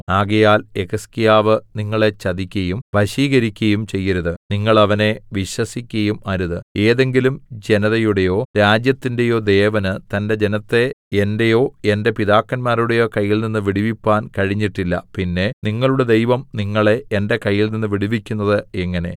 ആകയാൽ യെഹിസ്കീയാവ് നിങ്ങളെ ചതിക്കയും വശീകരിക്കയും ചെയ്യരുത് നിങ്ങൾ അവനെ വിശ്വസിക്കയും അരുത് ഏതെങ്കിലും ജനതയുടെയോ രാജ്യത്തിന്റെയോ ദേവന് തന്റെ ജനത്തെ എന്റെയൊ എന്റെ പിതാക്കന്മാരുടെയൊ കയ്യിൽനിന്ന് വിടുവിപ്പാൻ കഴിഞ്ഞിട്ടില്ല പിന്നെ നിങ്ങളുടെ ദൈവം നിങ്ങളെ എന്റെ കയ്യിൽനിന്ന് വിടുവിക്കുന്നത് എങ്ങനെ